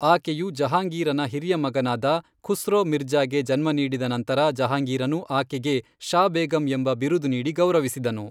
ಆಕೆಯು ಜಹಾಂಗೀರನ ಹಿರಿಯ ಮಗನಾದ ಖುಸ್ರೋ ಮಿರ್ಜ಼ಾಗೆ ಜನ್ಮ ನೀಡಿದ ನಂತರ ಜಹಾಂಗೀರನು ಆಕೆಗೆ ಷಾ ಬೇಗಂ ಎಂಬ ಬಿರುದು ನೀಡಿ ಗೌರವಿಸಿದನು.